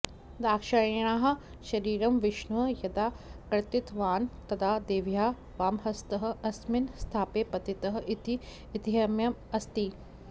दाक्षायिण्याः शरीरं विष्णुः यदा कर्तितवान् तदा देव्याः वामहस्तः अस्मिन् स्थाने पतितः इति ऐतिह्यम् अस्ति